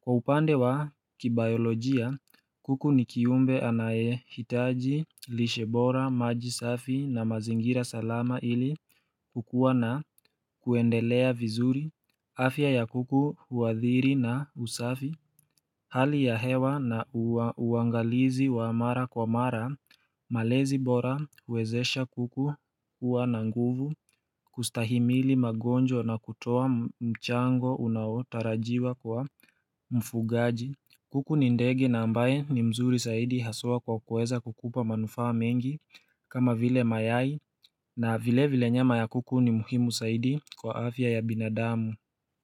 Kwa upande wa kibayolojia, kuku ni kiumbe anayehitaji, lishe bora, maji safi na mazingira salama ili kukuwa na kuendelea vizuri afya ya kuku huathiri na usafi, Hali ya hewa na uangalizi wa mara kwa mara, malezi bora huwezesha kuku kuwa na nguvu, kustahimili magonjwa na kutoa mchango unaotarajiwa kwa mfugaji kuku ni ndege na ambaye ni mzuri zaidi haswa kwa kuweza kukupa manufaa mengi kama vile, mayai na vile vile nyama ya kuku ni muhimu zaidi kwa afya ya binadamu.